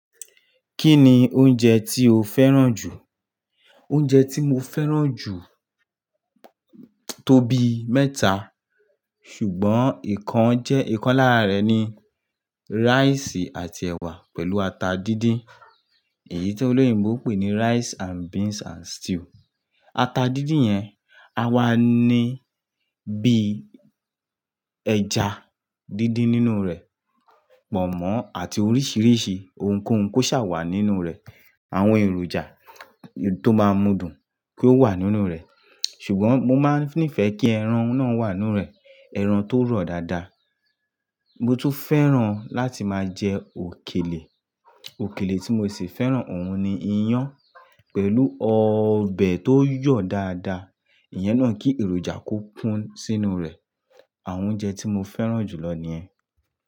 Kí ni oúnjẹ tí o fẹ́ràn jù? Oúnjẹ tí mo fẹ́ràn jù tó bí mẹ́ta, ṣùgbọ́n ìkan jẹ́ ìkan lára rẹ̀ ni rice àti ẹ̀wà pẹ̀lú ata díndín. Èyí tí olóyìnbo pè ní rice and beans and stew. Ata díndín yẹn, a wà ní bí ẹja díndín nínú rẹ̀, pọ̀nmọ́ àti oríṣiríṣi ohunkóhun kó ṣàwà nínú rẹ̀. Àwọn èròjà tó maa mú dùn kó wà nínú rẹ̀. Ṣùgbọ́n mo máa ń nífẹ̀ẹ́ kí ẹran náà wà nú rẹ̀. Ẹran tó rọ̀ dáadáa. Mo tún fẹ́ràn láti máa jẹ òkèlè. Òkèlè tí mo sì fẹ́ràn òun ni iyán pẹ̀lú ọbẹ̀ tó yọ̀ dáadáa. Ìyẹn náà kí èròjà kó kún sínú rẹ̀. Àwọn oúnjẹ tí mo fẹ́ràn jùlọ ni ẹ.